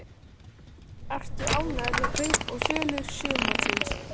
Ertu ánægður með kaup og sölur sumarsins?